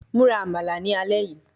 Mura Amala ni alẹ yii